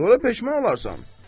Sonra peşman olarsan.